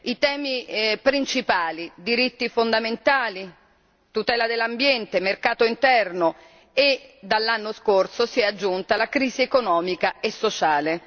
I temi principali diritti fondamentali, tutela dell'ambiente, mercato interno e, dall'anno scorso, si è aggiunta la crisi economica e sociale.